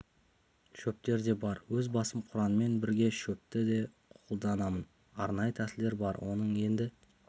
шөптер де бар өз басым құранмен бірге шөпті де қолданамын арнайы тәсілдері бар оның енді